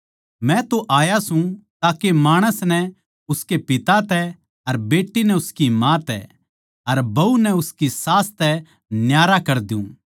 मै तो आया सूं ताके माणस नै उसके पिता तै अर बेट्टी नै उसकी माँ तै अर बहू नै उसकी सास तै न्यारा कर द्यु